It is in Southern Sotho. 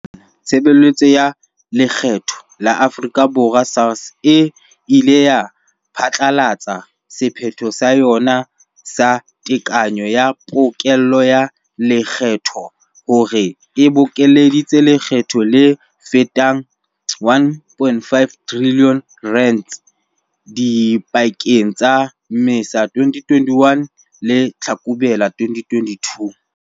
Haufinyane, Tshebe letso ya Lekgetho la Afrika Borwa, SARS, e ile ya phatlalatsa sephetho sa yona sa tekanyo ya pokello ya lekgetho hore e bokeleditse lekgetho le fetang R1.5 trilione dipakeng tsa Mmesa 2021 le Tlhakubele 2022.